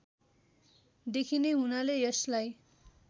देखिने हुनाले यसलाई